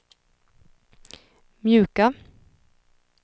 mjuka